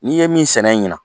N'i ye min sɛnɛ ɲinan